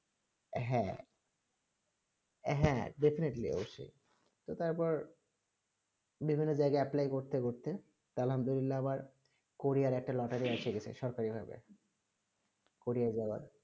হেঁ হেঁ definitely অবসয়ে তার পর বিভিন্ন জায়গা apply করতে করতে আবার কোরিয়া একটা লটারী আসে সরকারি ভাবে কোরিয়া যাবার